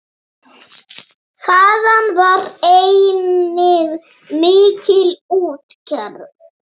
Þaðan var einnig mikil útgerð.